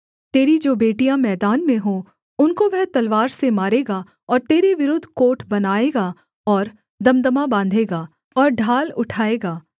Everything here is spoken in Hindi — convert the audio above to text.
तेरी जो बेटियाँ मैदान में हों उनको वह तलवार से मारेगा और तेरे विरुद्ध कोट बनाएगा और दमदमा बाँधेगा और ढाल उठाएगा